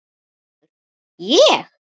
GRÍMUR: Ég?